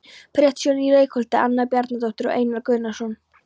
Prestshjónin í Reykholti- Anna Bjarnadóttir og Einar Guðnason.